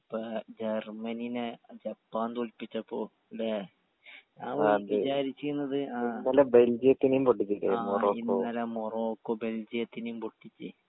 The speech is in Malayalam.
ഇപ്പൊ ജെർമനിനെ ജപ്പാൻ തോല്പിച്ചപ്പോ ലെ ഞാൻ വിജാരിചീന്നത് ആ ഇന്നലെ മൊറോക്കോ ബെൽജിയത്തിനിം പൊട്ടിച്ച്